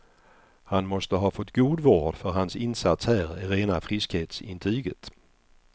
Han måste fått god vård för hans insats här är rena friskhetsintyget.